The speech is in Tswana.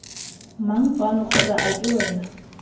mang fano kgotsa ake wena